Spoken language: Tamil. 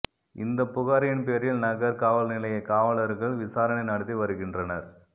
இந்த புகாரின் பேரில் நகர் காவல்நிலைய காவலர்கள் விசாரணை நடத்தி வருகின்றனர்